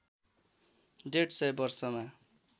डेढ सय वर्षमा